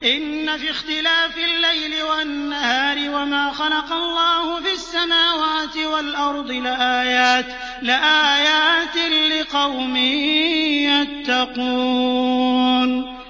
إِنَّ فِي اخْتِلَافِ اللَّيْلِ وَالنَّهَارِ وَمَا خَلَقَ اللَّهُ فِي السَّمَاوَاتِ وَالْأَرْضِ لَآيَاتٍ لِّقَوْمٍ يَتَّقُونَ